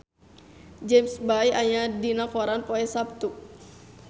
James Bay aya dina koran poe Saptu